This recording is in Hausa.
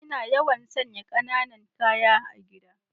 Ina yawan sanya kananan ƙaya a gida.